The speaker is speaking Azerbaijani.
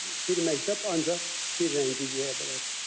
Bir məktəb ancaq bir rəngi geyə bilər.